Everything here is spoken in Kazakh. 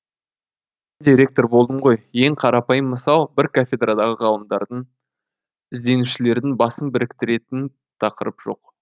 өзім де ректор болдым ғой ең қарапайым мысал бір кафедрадағы ғалымдардың ізденушілердің басын біріктіретін тақырып жоқ